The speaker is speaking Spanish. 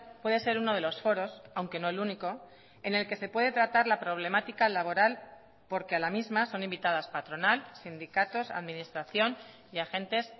puede ser uno de los foros aunque no el único en el que se puede tratar la problemática laboral porque a la misma son invitadas patronal sindicatos administración y agentes